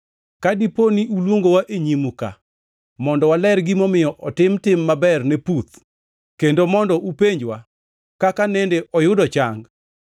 Ka dipo ni uluongowa e nyimu ka mondo waler gimomiyo otim tim maber ne puth, kendo mondo upenjwa kaka nende oyudo chang,